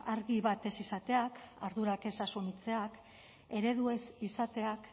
argi bat ez izateak ardurak ez asumitzeak eredu ez izateak